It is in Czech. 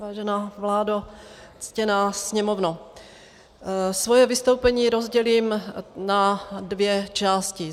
Vážená vládo, ctěná Sněmovno, svoje vystoupení rozdělím na dvě části.